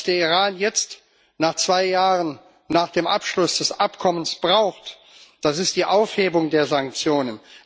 Was der Iran jetzt zwei Jahre nach dem Abschluss des Abkommens braucht, ist die Aufhebung der Sanktionen.